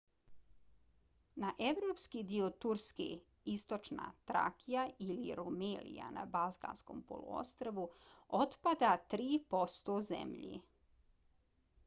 na evropski dio turske istočna trakija ili rumelija na balkanskom poluostrvu otpada 3% zemlje